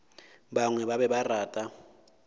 bangwe ba be ba rata